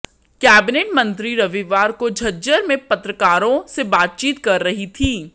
cabinet मंत्री रविवार को झज्जर में पत्रकारों से बातचीत कर रही थी